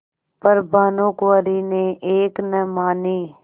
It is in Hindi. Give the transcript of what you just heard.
पर भानुकुँवरि ने एक न मानी